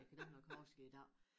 Jeg kan dårligt nok huske det i dag